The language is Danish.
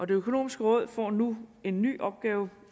det økonomiske råd får nu en ny opgave